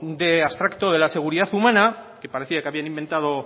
de abstracto de la seguridad humana que parecía que habían inventado